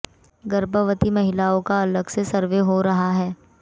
गर्भवती महिलाओं का अलग से सर्वे हो रहा है